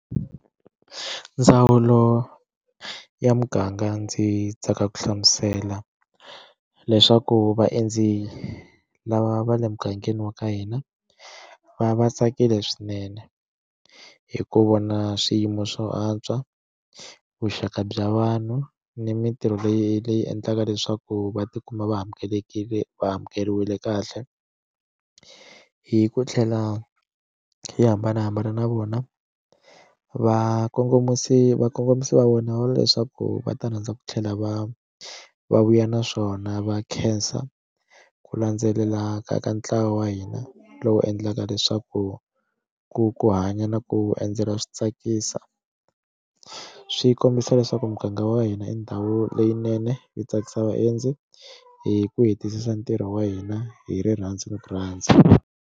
Ndzawulo ya muganga ndzi tsaka ku hlamusela leswaku vaendzi lava va le mugangeni wa ka hina va va tsakile swinene hi ku vona swiyimo swo antswa vuxaka bya vanhu ni mintirho leyi leyi endlaka leswaku va tikuma va amukelekile va amukeriwile kahle hi ku tlhela hi hambanahambana na vona vakongomisi vakongomisi va vona leswaku va ta rhandza ku tlhela va va vuya na swona va khensa ku landzelela ka ka ntlawa wa hina lowu endlaka leswaku ku ku hanya na ku endzela swi tsakisa swi kombisa leswaku muganga wa hina i ndhawu leyinene yo tsakisa vaendzi hi ku hetisisa ntirho wa hina hi rirhandzu ni ku rhandza.